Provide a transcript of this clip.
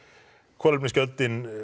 kolefnisgjöldin